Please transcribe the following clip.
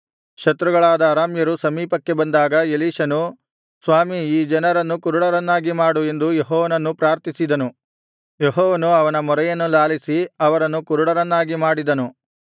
ಶತ್ರುಗಳಾದ ಅರಾಮ್ಯರು ಸಮೀಪಕ್ಕೆ ಬಂದಾಗ ಎಲೀಷನು ಸ್ವಾಮಿ ಈ ಜನರನ್ನು ಕುರುಡರನ್ನಾಗಿ ಮಾಡು ಎಂದು ಯೆಹೋವನನ್ನು ಪ್ರಾರ್ಥಿಸಿದನು ಯೆಹೋವನು ಅವನ ಮೊರೆಯನ್ನು ಲಾಲಿಸಿ ಅವರನ್ನು ಕುರುಡರನ್ನಾಗಿ ಮಾಡಿದನು